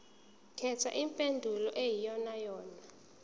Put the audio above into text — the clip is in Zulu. khetha impendulo eyiyonayona